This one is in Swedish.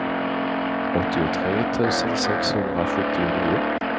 åttiotre tusen sexhundrasjuttionio